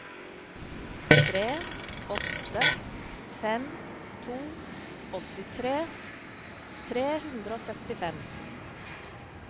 tre åtte fem to åttitre tre hundre og syttifem